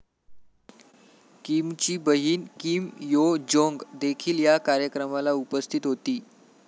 Kimchi बहीण Kim Yo Jong देखील या कार्यक्रमाला उपस्थित होती.